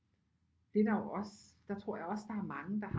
Det der jo også der tror jeg også der er mange der